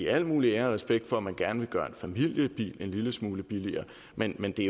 al muligt ære og respekt for at man gerne vil gøre en familiebil en lille smule billigere men men det